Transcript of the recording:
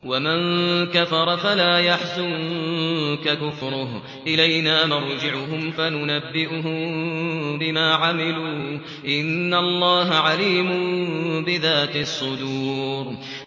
وَمَن كَفَرَ فَلَا يَحْزُنكَ كُفْرُهُ ۚ إِلَيْنَا مَرْجِعُهُمْ فَنُنَبِّئُهُم بِمَا عَمِلُوا ۚ إِنَّ اللَّهَ عَلِيمٌ بِذَاتِ الصُّدُورِ